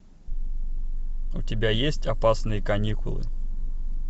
у тебя есть опасные каникулы